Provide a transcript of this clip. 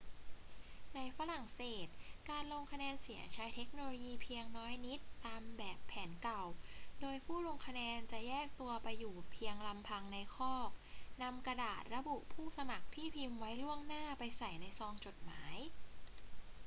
ในฝรั่งเศส การลงคะแนนเสียงใช้เทคโนโลยีเพียงน้อยนิดตามแบบแผนเก่า โดยผู้ลงคะแนนจะแยกตัวไปอยู่เพียยงลำพังในคอก นำกระดาษระบุผู้สมัครที่พิมพ์ไว้ล่วงหน้าไปใส่ในซองจดหมาย